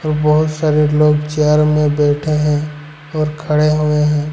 बहुत सारे लोग चेयर में बैठे हैं और खड़े हुए हैं।